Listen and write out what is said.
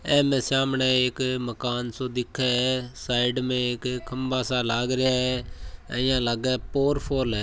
एमए सामणे एक मकान सो दिखे है साइड में एक खम्भा सा लाग रिया है इया लागे पोरफॉल है।